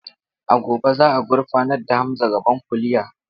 A gobe za a gurfanar da Hamza gaban kuliya.